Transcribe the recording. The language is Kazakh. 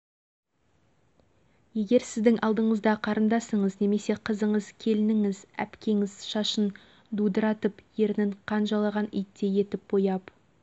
көзінің асты мен үстін төбелестен таяқ жеген адамдай көкпеңбек қылып көмір түсіріп келген адамдай қасы